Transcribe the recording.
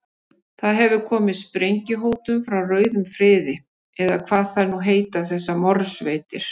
Það hefur komið sprengjuhótun frá rauðum friði, eða hvað þær nú heita þessar morðsveitir.